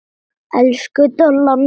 Elsku Dolla mín.